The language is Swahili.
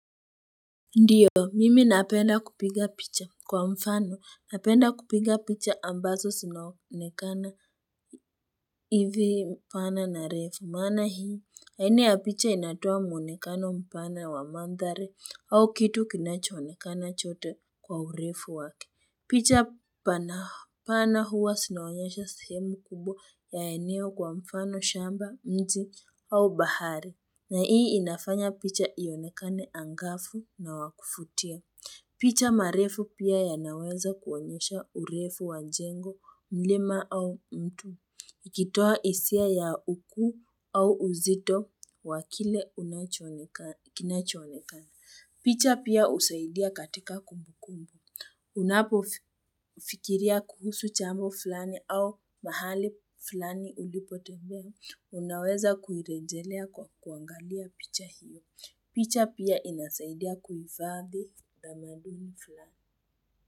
Ndiyo, mimi napenda kupiga picha kwa mfano. Napenda kupiga picha ambazo zinaonekana hivi mpana na refu. Maana hii, aina ya picha inatoa mwonekana mpana wa mandhari au kitu kinachoonekana chote kwa urefu wake. Picha pana huwa zinaonyesha sehemu kubwa ya eneo kwa mfano shamba miti au bahari. Na hii inafanya picha ionekane angafu na wakuvutia. Picha marefu pia yanaweza kuonyesha urefu wanjengo mlima au mtu. Ikitoa hisia ya ukuu au uzito wakile kinacho onekana. Picha pia usaidia katika kumbu kumbu. Unapo fikiria kuhusu jambo fulani au mahali fulani ulipotembea unaweza kuirejelea kwa kuangalia picha hiyo. Picha pia inasaidia kuhifadhi tamaduni fulani.